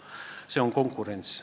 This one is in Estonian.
Asi on konkurentsis.